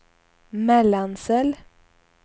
Mellansel